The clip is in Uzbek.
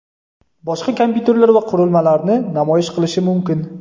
boshqa kompyuterlar va qurilmalarni namoyish qilishi mumkin.